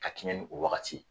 Ka kɛɲɛ ni o wagati ye.